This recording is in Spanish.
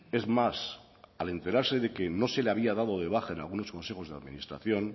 es más al enterarse de que no se le había dado de baja en algunos consejos de administración